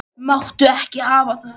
Máttu ekki hafa það.